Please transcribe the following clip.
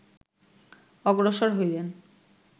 অগ্রসর হইলেন